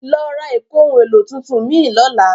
Lọ ra ìkóhun-èlò tuntun mìí lọ́la.